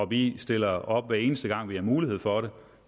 vi stiller op hver eneste gang vi har mulighed for det